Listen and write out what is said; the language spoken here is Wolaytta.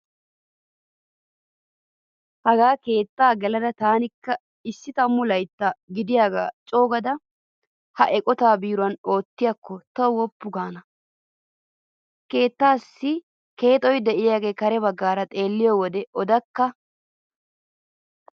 Hagaa keettan gelada taanikka issi tammu laytta gidiyaagaa coogada ha eqotaa biiruwan oottiyaakko tawu woppu gaana. Keettaassi keexo diyaagee kare baggaara xeelliyo wode odakka.